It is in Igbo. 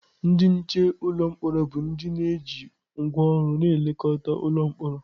Ndị nche ụlọ mkpọrọ bụ onye ji ngwá ọgụ na-elekọta ụlọ mkpọrọ.